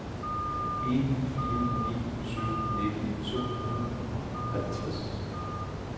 en fire ni syv nitten to hundrede og tooghalvtreds